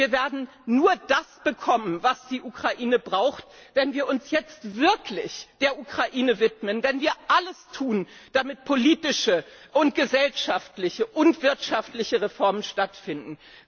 Und wir werden nur das bekommen, was die Ukraine braucht, wenn wir uns jetzt wirklich der Ukraine widmen, wenn wir alles tun, damit politische, gesellschaftliche und wirtschaftliche Reformen stattfinden.